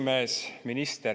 Minister!